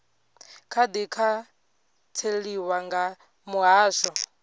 kha di khantseliwa nga muhasho